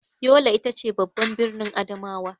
Yola ita ce babban birnin Adamawa.